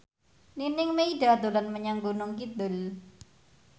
Nining Meida dolan menyang Gunung Kidul